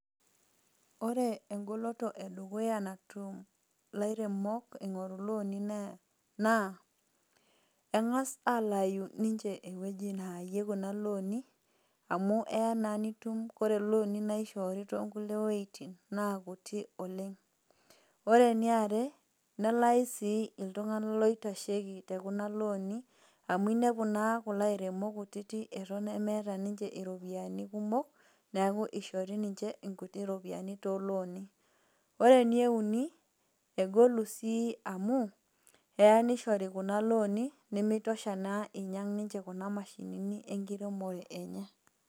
Ore engoloto edukuya natum ilairemok ingoru ilooni naa kengas alayu ninche ewueji nayayie kunalooni amu eya naa nitum kore looni naishori tonkulie wuejitin naa kuti oleng. Ore eniare nelayi sii iltunganak loitasheiki tekuna looni amu inepu naa kulo airemok kutiti eton emeeta ninche iropiyiani kumok neeku ishori ninche inkuti ropiyiani tolooni . Ore eneuni egolu sii amu eya nishori kuna looni nimitosha naa inyangu kuna mashinini enkiremore enye.